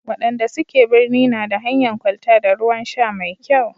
wayanda suke birni na da hanyan kwalta da ruwan sha mai kyau